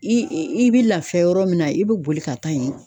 I i i bi lafiya yɔrɔ min na i be boli ka taa yen.